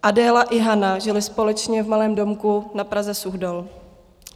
Adéla i Hana žily společně v malém domku na Praze-Suchdol.